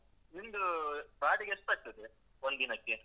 ನಿಮ್ದು ಬಾಡಿಗೆ ಎಷ್ಟಾಗ್ತದೆ ಒಂದ್ ದಿನಕ್ಕೆ?